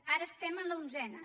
ara estem en l’onzena